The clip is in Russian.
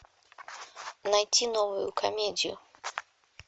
найти новую комедию